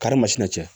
Karimasina cɛ